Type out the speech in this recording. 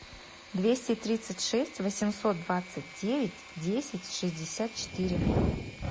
двести тридцать шесть восемьсот двадцать девять десять шестьдесят четыре